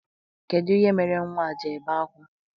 Kedụ ihe mere nnwa a ji ebe akwa?